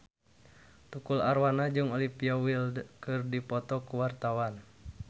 Tukul Arwana jeung Olivia Wilde keur dipoto ku wartawan